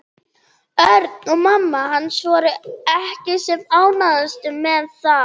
Örn og mamma hans voru ekki sem ánægðust með það.